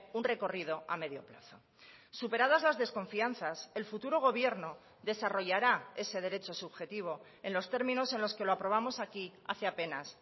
un recorrido a medio plazo superadas las desconfianzas el futuro gobierno desarrollará ese derecho subjetivo en los términos en los que lo aprobamos aquí hace apenas